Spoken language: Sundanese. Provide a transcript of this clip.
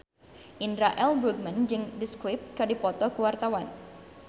Indra L. Bruggman jeung The Script keur dipoto ku wartawan